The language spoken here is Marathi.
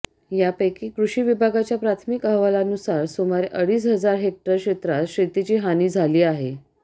यापैकी कृषी विभागाच्या प्राथमिक अहवालानुसार सुमारे अडीच हजार हेक्टर क्षेत्रात शेेतीची हानी झाली आहे